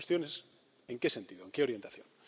La cuestión es en qué sentido, en qué orientación.